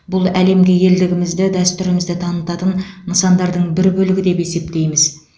бұл әлемге елдігімізді дәстүрімізді танытатын нысандардың бір бөлігі деп есептейміз